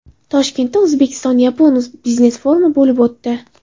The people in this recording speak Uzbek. Toshkentda o‘zbek-yapon biznes-forumi bo‘lib o‘tdi.